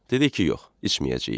Dedi ki, yox, içməyəcəyik.